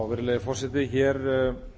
virðulegi forseti hér mæli